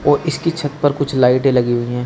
औ इसकी छत पर कुछ लाइटें लगी हुई है।